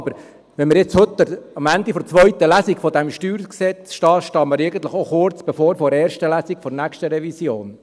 Aber wenn wir heute am Ende der zweiten Lesung dieses StG stehen, dann stehen wir eigentlich auch kurz vor der ersten Lesung der nächsten Revision.